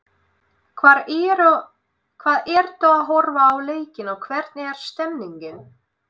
Hvar ertu að horfa á leikinn og hvernig er stemningin?